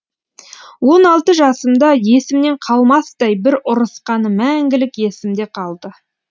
он алты жасымда есімнен қалмастай бір ұрысқаны мәңгілік есімде қалды